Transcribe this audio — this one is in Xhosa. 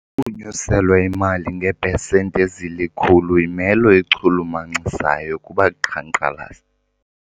Ukunyuselwa imali ngeepesenti ezilikhulu yimelo echulumachisayo kubaqhankqalazi.